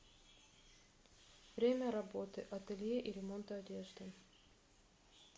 время работы ателье и ремонта одежды